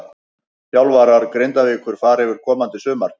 Þjálfarar Grindavíkur fara yfir komandi sumar.